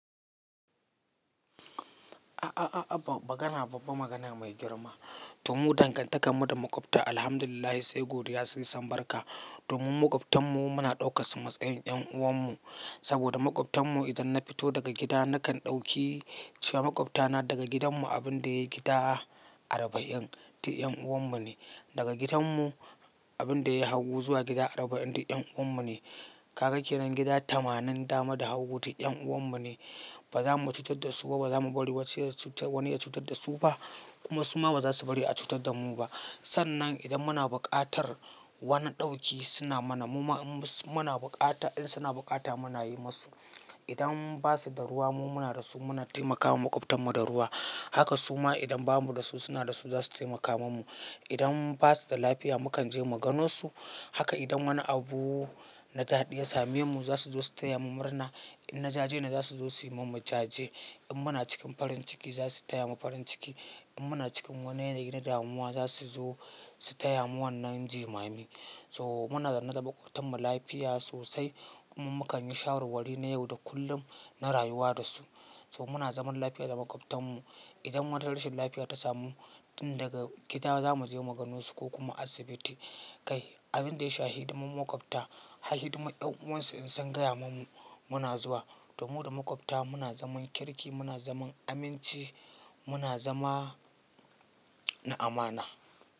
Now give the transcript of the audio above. A'a, ba magana ba magana mai girma. To mu dangantakar mu da makwabta Alhamdulillah sai godiya sun yi sambarka. Domin makwabtan mu muna ɗaukaka su matsayin ƴan uwan mu. Saboda makwabtan mu idan na fito daga gida nakan ɗauki cewa makwabtana daga gidan mu abin da yayi gida arba'in, ti ƴan uwan mu ne. Daga gidan mu abin da yayi hagu zuwa gida arba'in, ti ƴan uwan mu ne. Kaga kenan gida tamanin dama da hagu, ti ƴan uwan mu ne. Ba za mu cutar da su ba ba za mu bari wani ya cutar da su ba kuma su ma ba za su bari a cutar da mu ba. Sannan idan muna buƙatar wani dauki suna mana. In suna bukata mu na yi masu. Idan basu da ruwa mu muna da su muna taimakawa makwabtan mu da ruwa. Haka su ma idan bamu da su suna da su za su taimaka mana. Idan basu da lafiya mu kan je mu gano su. Haka idan wani abu na daɗi same mu za su zo su taya mu murna. In na jaje ne za su zo su yi min jajen. In muna cikin farin ciki za su taya mu farin ciki. In muna cikin wani yanayi na damuwa za su zo su taya mu wannan jimami. So muna zama da makwabtan mu lafiya sosai kuma mu kan yi shawarwari na yau da kullum na rayuwa da su. So muna zaman lafiya da makwabtan mu. Idan wata rashin lafiya ta samu tin daga gida za mu je mu gano su ko kuma asibiti. Kai abin da ya shafi hidimar makwabta, har hidimar ƴan uwan su in sun gaya mani muna zuwa. To mu da makwabta muna zaman kirki, muna zaman aminci, muna zama na amana.